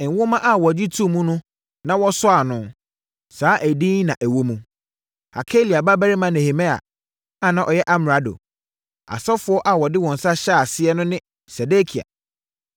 Nwoma a wɔgye too mu na wɔsɔɔ ano, saa edin yi na na ɛwɔ mu: Hakalia babarima Nehemia a na ɔyɛ amrado. Asɔfoɔ a wɔde wɔn nsa hyɛɛ aseɛ no ne Sedekia,